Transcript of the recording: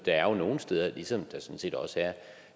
er nogle steder ligesom der sådan set også er